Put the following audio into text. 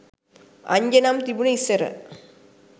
අංජනම් තිබුනේ ඉස්සර